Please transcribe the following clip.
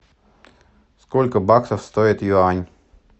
сколько баксов стоит юань